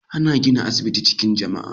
Ana gina asibiti acikin jamia